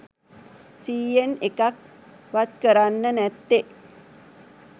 සීයෙන් එකක් වත්කරන්නෙ නැත්තෙ.